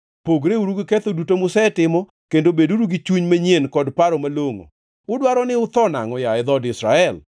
Pogreuru gi ketho duto musetimo, kendo beduru gi chuny manyien kod paro malongʼo. Udwaro ni utho nangʼo, yaye dhood Israel?